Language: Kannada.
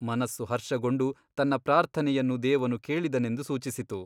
ಮನಸ್ಸು ಹರ್ಷಗೊಂಡು ತನ್ನ ಪ್ರಾರ್ಥನೆಯನ್ನು ದೇವನು ಕೇಳಿದನೆಂದು ಸೂಚಿಸಿತು.